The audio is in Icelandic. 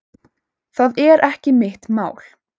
Það er ekki mitt mál.